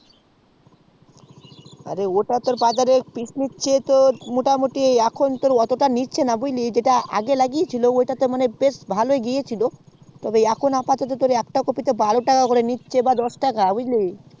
ওটা তোর বাজার এ পিস্ নিচ্ছে মোটামোটি এখন তোর অতটা নিচ্ছে না বুজলি যেটা আগে লাগিয়েছিলাম ওটাতে বেশ ভালোই গিয়েছিলো এখন আপাতত একটা কফি তে বারো টাকা করে নিচ্ছে আর একটু ছোট গুলো দশ টাকা নিচ্ছে